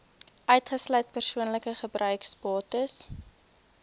uitgesluit persoonlike gebruiksbates